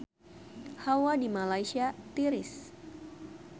Hawa di Malaysia tiris